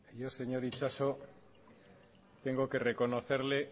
yo señor itxaso tengo que reconocerle